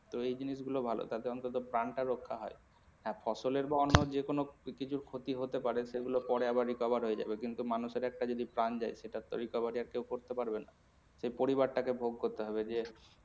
তো এই জিনিস গুলো ভালো তাতে অন্তত প্রাণটা রক্ষা হয়। হ্যাঁ ফসলের বা অন্য যে কোনো কিছুর ক্ষতি হতে পারে সেগুলো পরে আবার recover হয়ে যাবে কিন্তু মানুষের একটা যদি প্রাণ যায় সেটা তো আর recovery আর কেউ করতে পারবে না। সে পরিবারটাকে ভোগ করতে হবে যে।